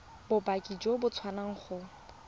bopaki jo bo tswang go